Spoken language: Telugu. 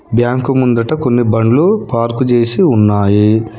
బ్యాంకు ముందట కొన్ని బండ్లు పార్కు చేసి ఉన్నాయి.